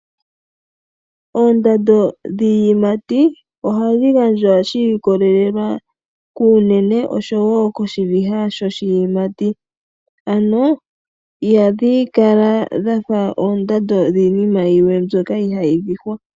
Oondando dhiiyimati ohadhi gandjwa shiikolelela kuunene oshowo koshiviha shoshiyimati ano ihadhi kala dha fa oondando dhiinima yilwe mbyoka ihayi vihwa.